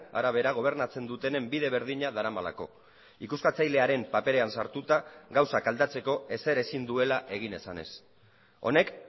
arabera gobernatzen dutenen bide berdina daramalako ikuskatzailearen paperean sartuta gauzak aldatzeko ezer ezin duela egin esanez honek